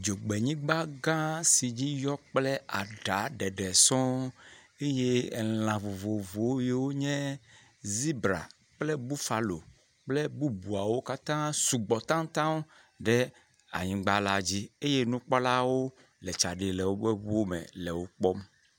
Dzogbe nyigba gã si dzi yɔ fuu kple aɖa ɖeɖe sɔŋ eye elã vovovo yiwo nye zebra kple bufalo kple bubuawo katã sugbɔ tataŋ ɖe anyigba la dzi eye nukpɔlawo le tsa ɖi le wobe ŋuwo me la wo kpɔm.